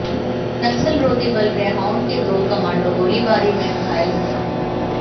नक्सल रोधी बल ग्रेहाउंड के दो कमांडों गोलीबारी में घायल हुए हैं